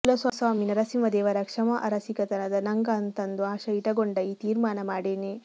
ಕುಲಸ್ವಾಮಿ ನರಸಿಂಹದೇವರ ಕ್ಛಮಾ ಅರ ಸಿಗತದ ನಂಗ ಅಂತಂದು ಆಶಾ ಇಟಗೊಂಡ ಈ ತೀರ್ಮಾನ ಮಾಡೇನಿ